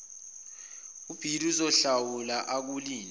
ubhili uzohlawula akulinde